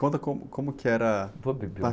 Conta como, como que era...ou beber...